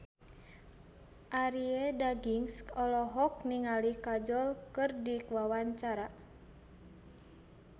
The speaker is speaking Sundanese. Arie Daginks olohok ningali Kajol keur diwawancara